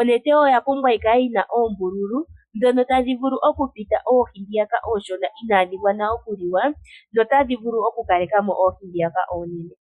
onete oya pumbwa yi kale yina okukala yi na oombululu ndhono tadhi vulu okupita oohi ndhoka ooshona inadhi gwana okuliwa dho otadhi vulu okukaleka mo oohi ndhiyaka oonene.